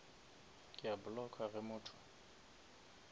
ke a blocka ge motho